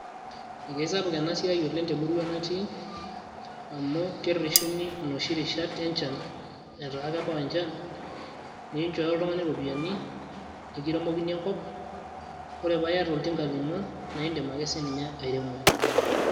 ee isapuk ena siai oleng te murua natii, amu kereshuni inoshi rishat enchan, amu inchooyo oltungani iropiyiani, nikiremokini enkop. ore paa iyata oltinka lino naa idim ake sii ninye airemo.